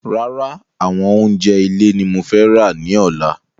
Rárá àwọn oúnjẹ ilé ní mo fẹ́ ra ní ọ̀la